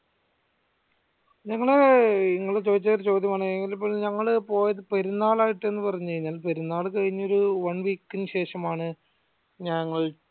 ഞങ്ങള് ഇങ്ങള് ചോതിച്ച ഒരു ചോദ്യമാണ് എങ്കിലിപ്പോ പോയത് പെരുന്നാളായിട്ട് എന്ന് പറഞ്കഴിഞ്ഞ പെരുന്നാൾ കഴിഞ്ഞൊരു one week ഇന് ശേഷം ആണ് ഞങ്ങൾ